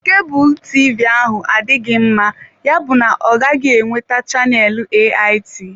Kebulu TV ahụ adịghị mma, yabụ na ọ gaghị enweta chaneelu AIT.